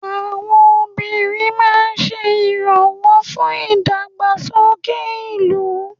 àwọn obìnrin ma n se iranwo fún ìdàgbàsókè ìlú